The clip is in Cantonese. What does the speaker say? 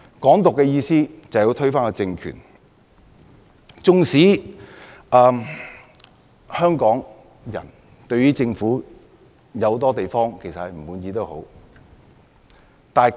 "港獨"是要推翻政權，縱使香港人對政府諸多不滿，但